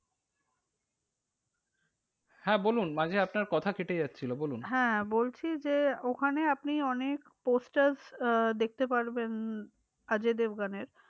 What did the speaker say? হ্যাঁ বলুন মাঝে আপনার কথা কেটে যাচ্ছিলো। বলুন, হ্যাঁ বলছি যে ওখানে আপনি অনেক posters আহ দেখতে পারবেন উম অজয় দেবগানের।